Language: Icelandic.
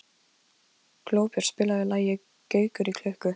Glóbjört, spilaðu lagið „Gaukur í klukku“.